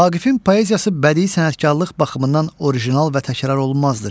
Vaqifin poeziyası bədii sənətkarlıq baxımından orijinal və təkrarolunmazdır.